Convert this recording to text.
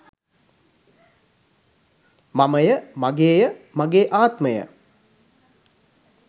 මමය, මගේය, මගේ ආත්මය